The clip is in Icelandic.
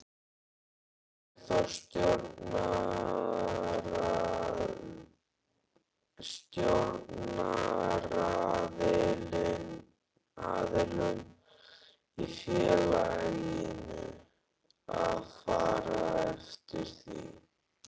Ber þá stjórnaraðilum í félaginu að fara eftir því.